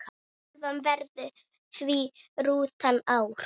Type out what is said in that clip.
Töfin verður því rúmt ár.